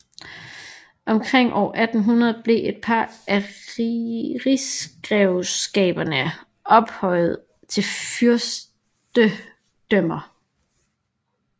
Omkring år 1800 blev et par af rigsgrevskaberne ophøjede til fyrstedømmer